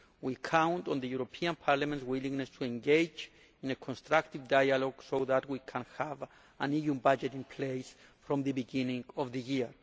We count on Parliament's willingness to engage in a constructive dialogue so that we can have an EU budget in place from the beginning of the year.